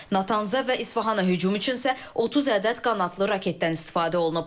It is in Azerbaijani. Natanz və İsfahana hücum üçün isə 30 ədəd qanadlı raketdən istifadə olunub.